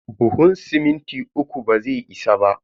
Buhun siminti uku bazai isa ba.